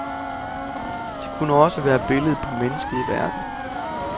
Det kunne også være billedet på mennesket i verden.